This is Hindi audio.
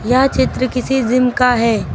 यह चित्र किसी जीम का है।